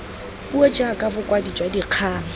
puo jaaka bokwadi jwa dikgang